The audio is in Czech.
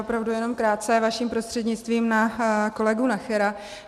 Opravdu jenom krátce vaším prostřednictvím na kolegu Nachera.